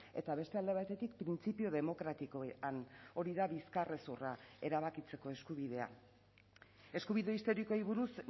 eta beste alde batetik printzipio demokratikoan hori da bizkarrezurra erabakitzeko eskubidea eskubide historikoei buruz